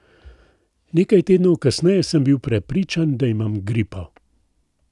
Nekaj tednov kasneje sem bil prepričan, da imam gripo.